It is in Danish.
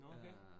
Nåh okay